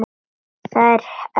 Þær helstu eru